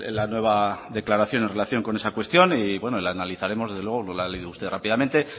la nueva declaración en relación con esa cuestión y bueno la analizaremos desde luego lo ha leído usted rápidamente